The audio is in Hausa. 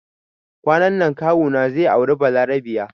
Kwanan nan kawu na zai aure balarabiya